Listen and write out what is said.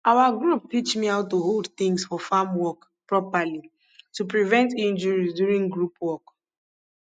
our group teach me how to hold things for farm work properly to prevent injuries during group work